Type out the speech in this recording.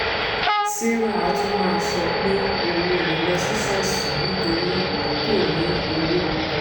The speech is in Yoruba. sarah atuma sọ pé òun ò lè lọ sí ṣọ́ọ̀ṣì nítorí kò ní owó ọkọ.